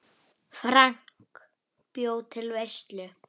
Höggið er mikið og þungt.